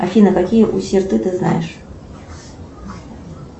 афина какие усерты ты знаешь